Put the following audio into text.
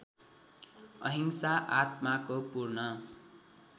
अहिंसा आत्माको पूर्ण